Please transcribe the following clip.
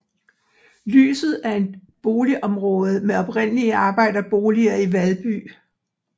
Lyset er et boligområde med oprindeligt arbejderboliger i Valby